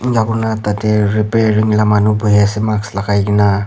ena kuri ne tate reparing la manu buhi ase mask lagai kena.